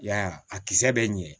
Yaya a kisɛ bɛ ɲɛ